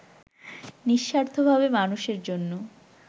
নিঃস্বার্থভাবে মানুষের জন্য